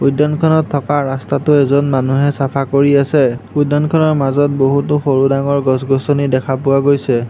উদ্যানখনত থকা ৰাস্তাটো এজন মানুহে চাফা কৰি আছে উদ্যানখনৰ মাজত বহুতো সৰু-ডাঙৰ গছ-গছনি দেখা পোৱা গৈছে।